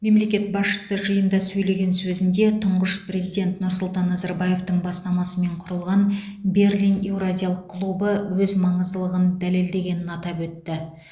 мемлекет басшысы жиында сөйлеген сөзінде тұңғыш президент нұрсұлтан назарбаевтың бастамасымен құрылған берлин еуразиялық клубы өз маңыздылығын дәлелдегенін атап өтті